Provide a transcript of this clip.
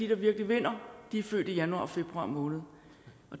der virkelig vinder er født i januar og februar måned